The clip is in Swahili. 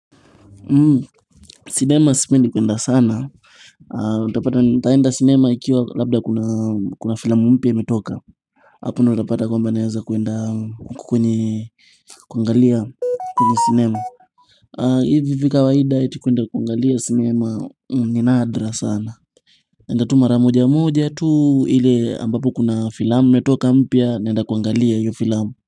Cinema sipendi kuenda sana utapata nitaenda cinema ikiwa labda kuna filmu mpya imetoka hapo unapata kwamba naweza kuenda kwenye cinema hivi hivi kawaida ati kuenda kwenye cinema ni nadra sana. Naenda tu mara moja moja tu ile ambapo kuna filamu imetoka mpya naenda kuangalia hiyo filamu.